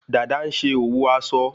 Dada ń ṣe òwò aso